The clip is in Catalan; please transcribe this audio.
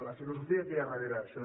la filosofia que hi ha darrere d’això